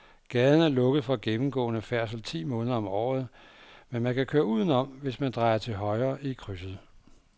Gaden er lukket for gennemgående færdsel ti måneder om året, men man kan køre udenom, hvis man drejer til højre i krydset.